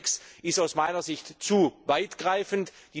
Der Anhang 6 ist aus meiner Sicht zu weitgreifend.